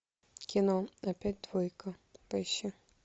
кино опять двойка поищи